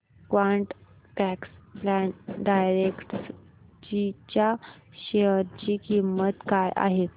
quant tax plan direct G च्या share ची किंमत काय आहे